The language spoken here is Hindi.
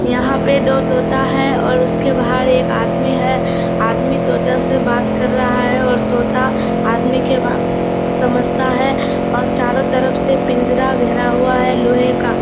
यहां पे दो तोता है और उसके बाहर एक आदमी है आदमी तोता से बात कर रहा है और तोता आदमी के बात समझता है और चारों तरफ से पिंजरा घेरा हुआ है लोहे का।